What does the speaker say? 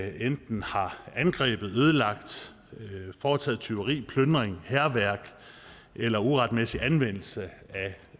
enten har angrebet ødelagt foretaget tyveri plyndring hærværk eller uretmæssig anvendelse